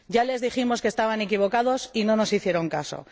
Ya les dijimos que estaban equivocados y no nos hicieron caso.